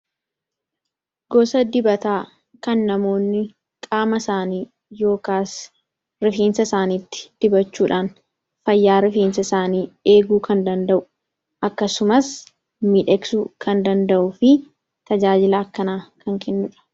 gosa dibataa kan namoonni qaama isaanii yookaas rifiinsa isaaniitti dibachuudhaan fayyaa rifiinsa isaanii eeguu kan danda'u akkasumas midheksuu kan danda'u fi tajaajilaa akkanaa kan kennuudha